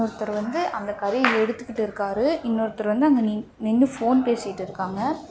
ஒருத்தர் வந்து அந்த கறிய எடுத்துகிட்ருக்காரு இன்னோருத்தர் வந்து அங்க நின் நின்னு போன் பேசிட்டு இருகாங்க.